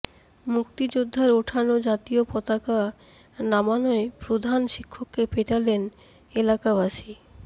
মুক্তিযোদ্ধার ওঠানো জাতীয় পতাকা নামানোয় প্রধান শিক্ষককে পেটালেন এলাকাবাসী